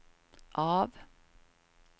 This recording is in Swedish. av